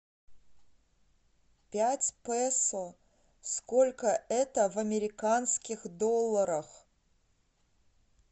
пять песо сколько это в американских долларах